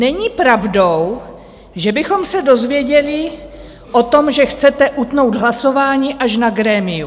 Není pravdou, že bychom se dozvěděli o tom, že chcete utnout hlasování, až na grémiu.